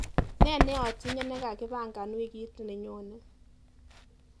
Ne neatinye nekakipangan wikit nenyone?